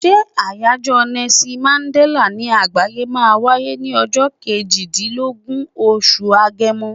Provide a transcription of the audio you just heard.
Ṣé àyájọ́ Nelson Mandella ní àgbáyé máa wáyé ní ọjọ́ kejì dín lógún, oṣù Agẹmọ.